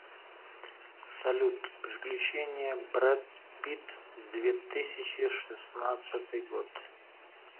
салют приключения бретт питт две тысячи шестнадцатый год